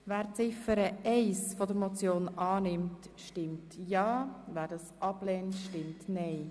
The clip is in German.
Wer Ziffer 1 annimmt, stimmt ja, wer sie ablehnt, stimmt nein.